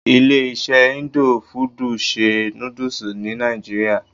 Ilé iṣé indo fudù ń ṣe nódúsì ní nàìjíría.